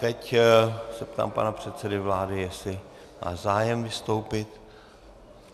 Teď se ptám pana předsedy vlády, jestli má zájem vystoupit.